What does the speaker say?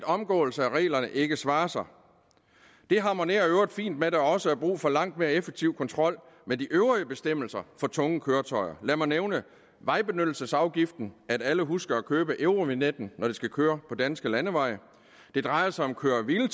omgåelse af reglerne ikke svarer sig det harmonerer i øvrigt fint med at der også er brug for langt mere effektiv kontrol med de øvrige bestemmelser for tunge køretøjer lad mig nævne vejbenyttelsesafgiften at alle husker at købe eurovignetten når de skal køre på danske landeveje det drejer sig om køre hvile